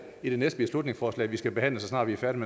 i det næste beslutningsforslag vi skal behandle så snart vi er færdige